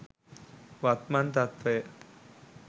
වත්මන් තත්ත්වය